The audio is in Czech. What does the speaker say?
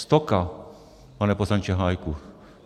Stoka, pane poslanče Hájku.